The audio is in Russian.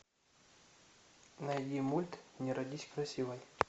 найди мульт не родись красивой